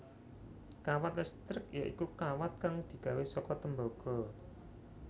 Kawat listrik ya iku kawat kang digawé saka tembaga